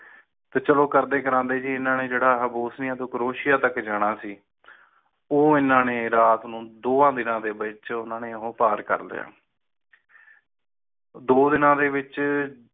ਪਿਛਲੋਂ ਕਰਦੇ ਕਰਨ ਲਈ ਚੀਨ ਨੇ ਜੜ੍ਹੀ bosnia ਤੋਂ croatia ਤੱਕ ਜਾਣਾ ਸੀ ਉਹ ਇਨ੍ਹਾਂ ਨੇ ਰਾਤ ਵਿਚ ਦੋ ਦੀਨਾ ਚ ਉਹ ਪਾਰ ਕਰ ਲਾਯਾ ਦੋ ਦੀਨਾ ਦੇ ਵਿਚ